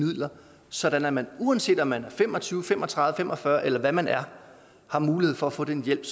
midler sådan at man uanset om man er fem og tyve fem og tredive fem og fyrre eller hvad man er har mulighed for at få den hjælp